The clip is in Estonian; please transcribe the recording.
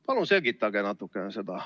Palun selgitage natukene seda.